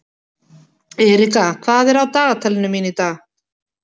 Erika, hvað er á dagatalinu mínu í dag?